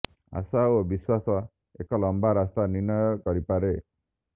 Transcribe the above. ଆଶା ଓ ବିଶ୍ୱାସ ଏକ ଲମ୍ବା ରାସ୍ତା ନିର୍ଣ୍ଣୟ କରିପାରେ